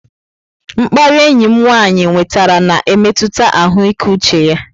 Mkparị enyi m nwanyị nwetara na-emetụta ahụike uche ya.